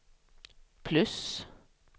plus